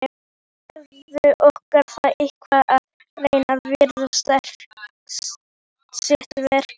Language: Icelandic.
Gerður orkar það eitt að reyna að vinna sitt verk.